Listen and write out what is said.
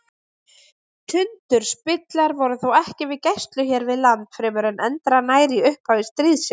Tundurspillar voru þó ekki við gæslu hér við land fremur en endranær í upphafi stríðsins.